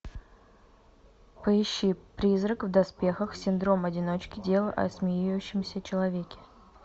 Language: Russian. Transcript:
поищи призрак в доспехах синдром одиночки дело о смеющемся человеке